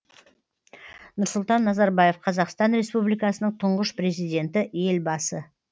нұрсұлтан назарбаев қазақстан республикасының тұңғыш президенті елбасы